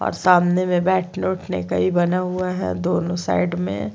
और सामने में बैठने उठने का ही बना हुआ है दोनों साइड में--